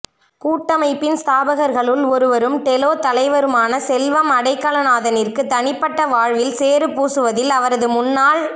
கூட்டமைப்பின் ஸ்தாபகர்களுள் ஒருவரும் டெலோ தலைவருமான செல்வம் அடைக்கலநாதனிற்கு தனிப்பட்ட வாழ்வில் சேறுபூசுவதில் அவரது முன்னாள்